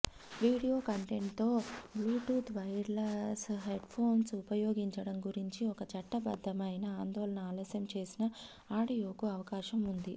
video కంటెంట్తో Bluetooth wireless headphones ఉపయోగించడం గురించి ఒక చట్టబద్దమైన ఆందోళన ఆలస్యం చేసిన ఆడియోకు అవకాశం ఉంది